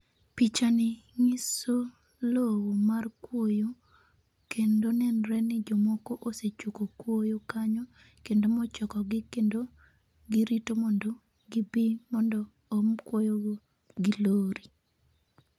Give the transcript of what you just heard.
Pichani ng'iso lowo mar kwoyo, kendo nenre ni jomoko osechoko kwoyo kanyo kendo mochokogi, kendo girito mondo gibi mondo om kwoyogo gi lori